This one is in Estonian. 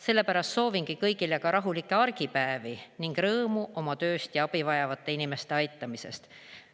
Sellepärast soovingi kõigile ka rahulikke argipäevi ning rõõmu oma tööst ja abi vajavate inimeste aitamisest.